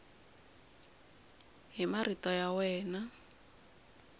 hi marito ya wena n